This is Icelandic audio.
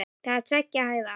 Það var tveggja hæða.